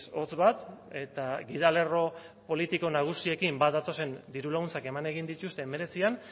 hotz bat eta gidalerro politiko nagusiekin bat datozen diru laguntzak eman egin dituzte hemeretzian